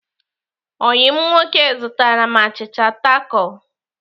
Oyi m nwoke zụtara m achịcha takol.